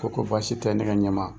Ko ko basi tɛ ne ka ɲɛma